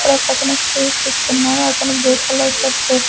ఇక్కడొకతను sweets ఇస్తున్నాడు అతను blue colour shirt వేస్ --